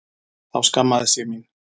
Þá skammaðist ég mín.